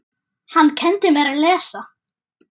Hann kenndi mér að lesa.